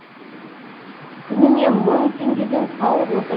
күніне мың теңгеден салып отыр